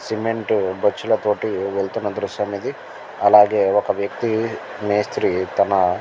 cement బొచ్చులతోటి వెళ్తున్న దృశ్యం ఇది అలాగే ఒక వ్యక్తి మేస్త్రి తన --